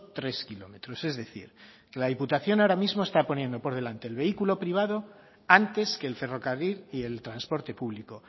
tres kilómetros es decir que la diputación ahora mismo está poniendo por delante el vehículo privado antes que el ferrocarril y el transporte público